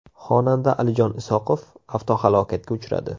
Xonanda Alijon Isoqov avtohalokatga uchradi.